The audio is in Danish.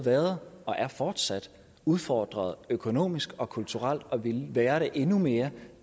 været og er fortsat udfordret økonomisk og kulturelt og det ville være det endnu mere